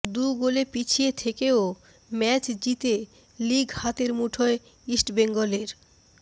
দু গোলে পিছিয়ে থেকেও ম্যাচ জিতে লিগ হাতের মুঠোয় ইস্টবেঙ্গলের